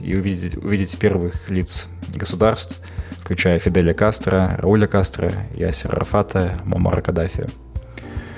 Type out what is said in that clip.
и увидеть увидеть первых лиц государств включая фиделя кастро оля кастро ясир арафата муаммар каддафи